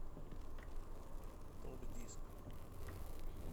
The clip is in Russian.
топ диск